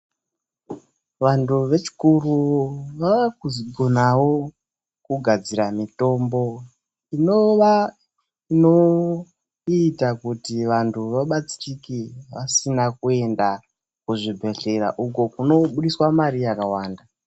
Vantu vechikuru vaakukonavo kugadzire mitombo inova inoita kuti vantu vabatsirike vasina kuenda kuzvibhehlera uko kunobuditswe mare yakawanda.